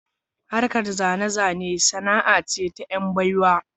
Harkar zane-zane sana'a ce ta "yan baiwa